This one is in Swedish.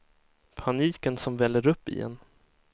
Paniken som väller upp i en.